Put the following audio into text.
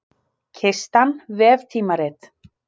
Kistan, veftímarit.